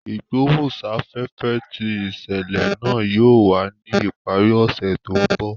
Igbohunsafefe ti iṣẹlẹ naa yóò wa ni ipari ọsẹ to nbọ.